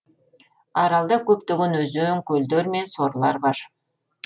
аралда көптеген өзен көлдер мен сорлар бар